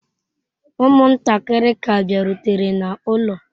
Ụmụntakịrị ka bịarutere n'ụlọ.